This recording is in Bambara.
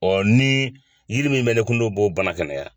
ni yiri min bɛ ne kun n'o b'o bana kɛnɛya.